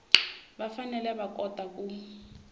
va fanele va kota ku